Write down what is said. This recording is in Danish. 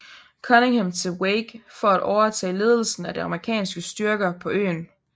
Cunningham til Wake for at overtage ledelsen af de amerikanske styrker på øen